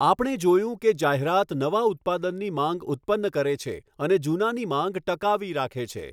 આપણે જોયું કે જાહેરાત નવા ઉત્પાદનની માંગ ઉત્પન્ન કરે છે અને જૂનાની માંગ ટકાવી રાખે છે.